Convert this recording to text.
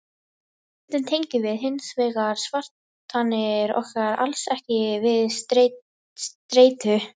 stundum tengjum við hins vegar kvartanir okkar alls ekki við streitu